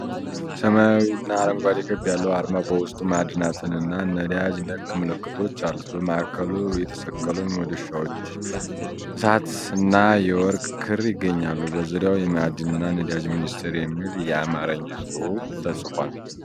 ሰማያዊና አረንጓዴ ክብ ያለው አርማ በውስጡ ማዕድናትና ነዳጅ ነክ ምልክቶች አሉት። በማዕከሉ የተሰቀሉ መዶሻዎች፣ እሳትና የወርቅ ክምር ይገኛሉ። በዙሪያው 'የማዕድንና ነዳጅ ሚኒስቴር' የሚል የአማርኛ ጽሑፍ ተጽፏል።